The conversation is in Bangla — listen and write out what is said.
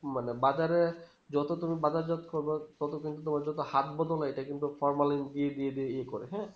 মানে বাজারে যত তুমি বাজার হাট করব ততদিন তোমার যত হাত নাই এটা কিন্তু formalin দিয়ে দিয়ে দিয়ে ই করে হ্যাঁ